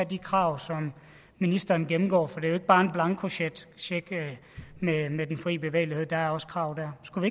de krav som ministeren gennemgår for det er jo ikke bare en blankocheck med den fri bevægelighed der er også krav dér skulle